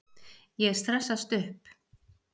Ég stressast upp.